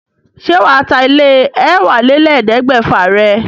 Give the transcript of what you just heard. Ṣé wà á ta ilé ẹ̀wálélẹ́ẹ̀ẹ́dẹ́gbẹ́fà rẹ̀?